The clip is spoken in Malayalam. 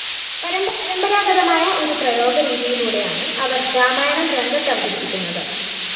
പരമ്പരാഗതമായ ഒരു പ്രയോഗരീതിയിലൂടെയാണ് അവര്‍ രാമായണം രംഗത്തവതരിപ്പിക്കുന്നത്